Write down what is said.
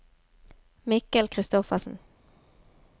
Mikkel Christoffersen